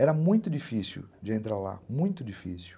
Era muito difícil de entrar lá, muito difícil.